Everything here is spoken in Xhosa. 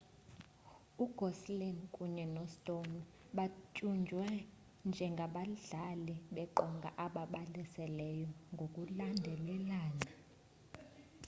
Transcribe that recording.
ugosling kunye no-stone batyunjwe ngengabadlali beqonga ababalaseleyo ngokulandelelana